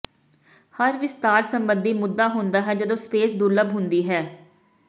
ਹਰ ਵਿਸਥਾਰ ਸੰਬੰਧੀ ਮੁੱਦਾ ਹੁੰਦਾ ਹੈ ਜਦੋਂ ਸਪੇਸ ਦੁਰਲੱਭ ਹੁੰਦੀ ਹੈ